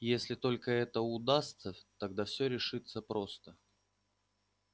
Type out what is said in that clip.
если только это удастся тогда всё решится просто